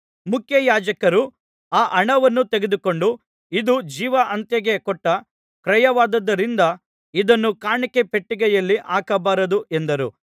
ಮುಖ್ಯಯಾಜಕರು ಆ ಹಣವನ್ನು ತೆಗೆದುಕೊಂಡು ಇದು ಜೀವಹತ್ಯೆಗೆ ಕೊಟ್ಟ ಕ್ರಯವಾದುದರಿಂದ ಇದನ್ನು ಕಾಣಿಕೆ ಪೆಟ್ಟಿಗೆಯಲ್ಲಿ ಹಾಕಬಾರದು ಎಂದರು